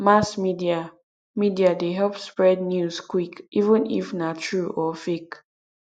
mass media media dey help spread news quick even if na true or fake